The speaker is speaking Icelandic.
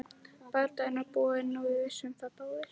Bardaginn var búinn og við vissum það báðir.